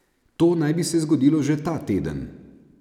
To naj bi se zgodilo že ta teden.